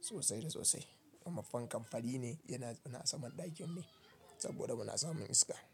sosai da sosai. Kuma fankan fari ne yana zaune a saman ɗakin ne saboda muna samun iska.